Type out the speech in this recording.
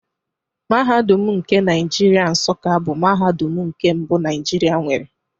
Mahadum nke Naijiria Nsuka bụ mahadum nke mbụ Naijiria nwere